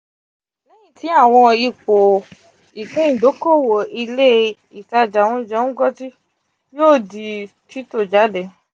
lẹhin ti awọn ipo ipin idokowo ile -itaja ounje ngozi yoo di tito jade.